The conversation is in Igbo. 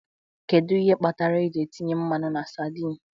Kedu ihe kpatara eji etinye mmanụ na sardine?